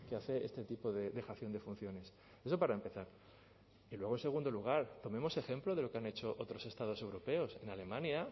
hace este tipo de dejación de funciones eso para empezar y luego en segundo lugar tomemos ejemplo de lo que han hecho otros estados europeos en alemania